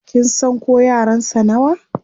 Kin san ko yaran sa nawa?